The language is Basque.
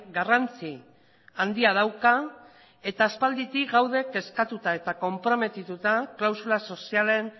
garrantzi handia dauka eta aspalditik gaude eskatuta eta konprometituta klausula sozialen